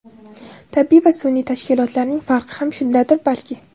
Tabiiy va sun’iy tashkilotlarning farqi ham shundadir balki.